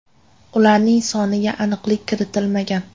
Ularning soniga aniqlik kiritilmagan.